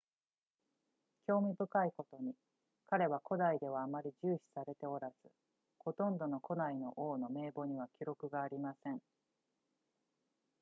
興味深いことに彼は古代ではあまり重視されておらずほとんどの古代の王の名簿には記録がありません